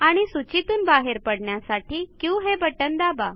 आणि सूचीतून बाहेर पडण्यासाठी क्यू हे बटण दाबा